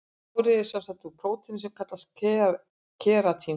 Hárið er sem sagt úr prótíni sem kallast keratín.